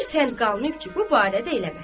Bir fənd qalmayıb ki, bu barədə eləməsin.